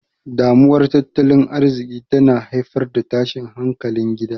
Damuwar Tattalin Arziki tana haifar da tashin hankalin gida.